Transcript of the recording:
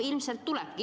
Ilmselt nii lähebki.